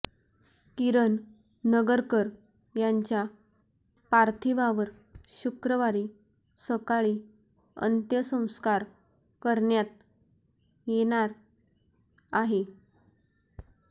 किरण नगरकर यांच्या पार्थिवावर शुक्रवारी सकाळी अंत्यसंस्कार करण्यात येणार आहेत